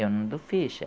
Eu não dou ficha.